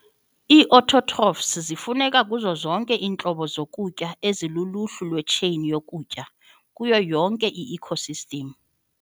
Ii-Autotrophs zifuneka kuzo zonke iintlobo zokutya ezikuluhlu lwe-chain yokutya, kuyo yonke i-ecosystems.